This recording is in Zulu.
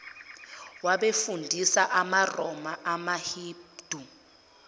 wabefundisi bamaroma amahindu